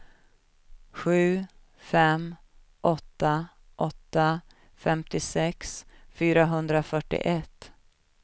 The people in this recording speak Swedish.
sju fem åtta åtta femtiosex fyrahundrafyrtioett